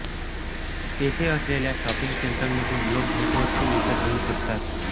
येथे असलेल्या शॉपिंग सेंटरमधून लोक भेटवस्तू विकत घेऊ शकतात